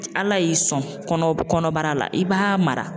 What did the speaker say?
Ala y'i sɔn kɔnɔ kɔnɔbara la i b'a mara.